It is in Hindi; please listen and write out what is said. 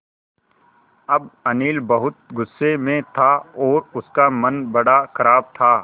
अब अनिल बहुत गु़स्से में था और उसका मन बड़ा ख़राब था